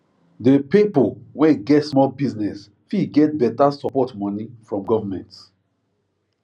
the pipo wey get small business fit get better support moni from government